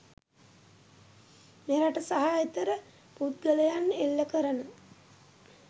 මෙරට සහ එතෙර පුද්ගලයන් එල්ල කරන